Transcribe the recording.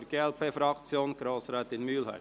Für die glp-Fraktion: Grossrätin Mühlheim.